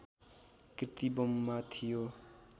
कीर्तिबममा थियो